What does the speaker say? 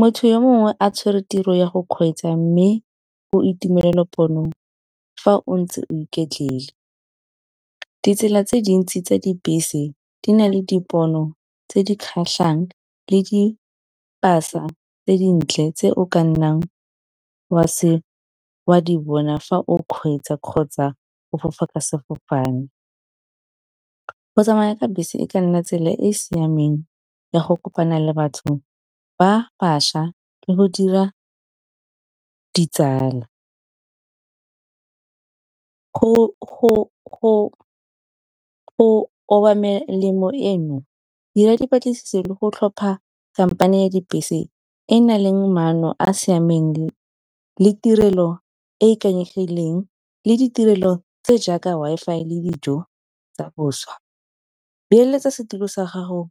Motho yo mongwe a tshwere tiro ya go kgweetsa mme o itumelela ponong fa o ntse o iketlile. Ditsela tse dintsi tsa dibese di na le dipono tse di kgatlhang, le di-pasa tse dintle tse o ka nnang oa se bona fa o kgweetsa kgotsa o fofa ka sefofane. Go tsamaya ka bese e ka nna tsela e e siameng ya go kopana le batho ba bašwa, le go dira ditsala. Go eno, dira dipatlisiso le go tlhopha company ya dibese e e nang le maano a siameng le tirelo e ikanyegileng le ditirelo tse jaaka Wi-Fi le dijo tsa boswa, beeletsa setilo sa gago